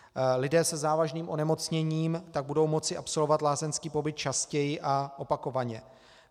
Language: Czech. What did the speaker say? Lidé se závažným onemocněním tak budou moci absolvovat lázeňský pobyt častěji a opakovaně.